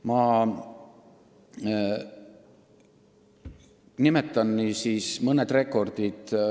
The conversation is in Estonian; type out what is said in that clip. Ma nimetan nüüd mõned rekordid.